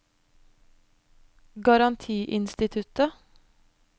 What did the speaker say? garantiinstituttet